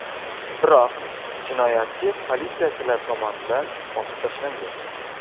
Biroq jinoyatchi politsiyachilar tomonidan otib tashlangan.